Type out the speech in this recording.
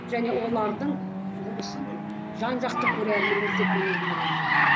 және олардың жұмысын жан жақты көре алмаймыз деп мен өзім ойлаймын